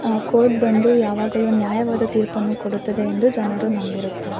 ಆ ಕೋರ್ಟ್ ಬಂದು ಯಾವಾಗಲು ನ್ಯಾಯವಾದ ತೀರ್ಪು ಅನ್ನು ಕೊಡುತ್ತದೆ ಎಂದು ಜನರು ನಂಬಿರುತ್ತಾರೆ.